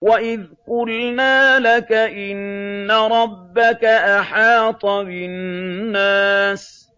وَإِذْ قُلْنَا لَكَ إِنَّ رَبَّكَ أَحَاطَ بِالنَّاسِ ۚ